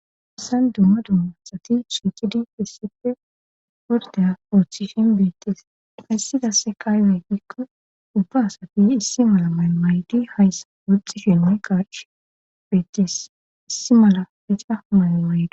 Assan dumma dumma sati chiqidi fissife pordey poochifin beettees hayssidasse kaaywey giikkon ubba asati issi mala maymaydi hayssa wuxxi shelme qaach beettes issi mala bica maylamaydi.